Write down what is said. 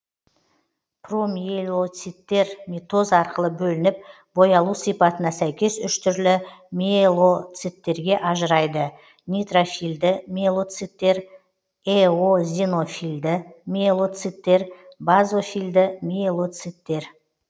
промиелоциттер митоз арқылы бөлініп боялу сипатына сәйкес үш түрлі мелоциттерге ажырайды нейтрофильді мелоциттер эозинофильді мелоциттер базофильді мелоциттер